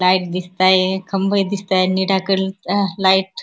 Light दिसतायेत. खंबे दिसतायेत. नीळ्या कलर चे आह लाईट --